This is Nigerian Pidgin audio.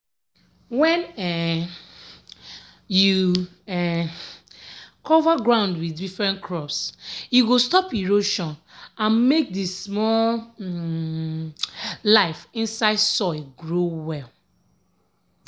when um you um cover ground with different crops e go stop erosion and make the small um life inside soil grow well.